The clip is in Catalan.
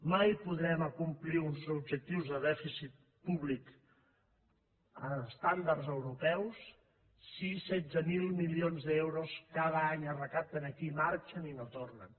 mai podrem acomplir uns objectius de dèficit públic estàndards europeus si setze mil milions d’euros cada any es recapten aquí marxen i no tornen